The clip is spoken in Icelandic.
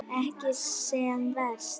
Ekki sem verst.